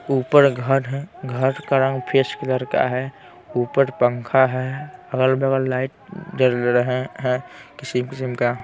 ऊपर घर हैं घर का रंग फेस कलर का हैं ऊपर पंखा हैं अगल-बगल लाइट जल रहे हैं किसी किस्म का--